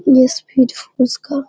ये speed force का --